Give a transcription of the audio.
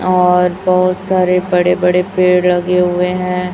और बहुत सारे बड़े बड़े पेड़ लगे हुए हैं।